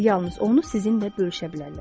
Bunlar yalnız onu sizinlə bölüşə bilərlər.